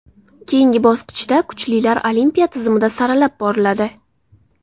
Keyingi bosqichda kuchlilar olimpiya tizimida saralab boriladi.